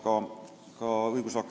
Küsimus on mul aga laste huvide kaitse kohta.